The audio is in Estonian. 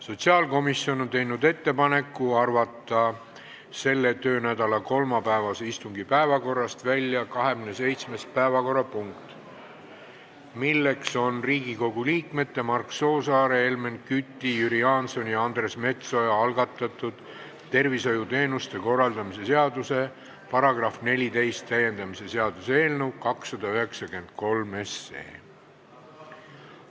Sotsiaalkomisjon on teinud ettepaneku arvata selle töönädala kolmapäevase istungi päevakorrast välja 27. päevakorrapunkt, Riigikogu liikmete Mark Soosaare, Helmen Küti, Jüri Jaansoni ja Andres Metsoja algatatud tervishoiuteenuste korraldamise seaduse § 14 täiendamise seaduse eelnõu 293 teine lugemine.